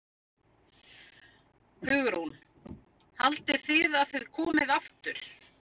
Hugrún: Haldið þið að þið komið aftur?